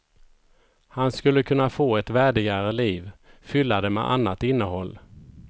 Han skulle kunna få ett värdigare liv, fylla det med annat innehåll.